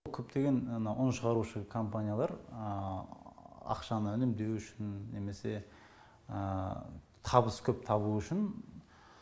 көптеген мынау ұн шығарушы компаниялар ақшаны үнемдеу үшін немесе табыс көп табу үшін